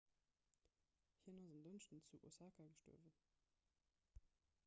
hien ass en dënschdeg zu osaka gestuerwen